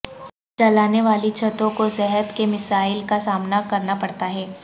جلانے والی چھتوں کو صحت کے مسائل کا سامنا کرنا پڑتا ہے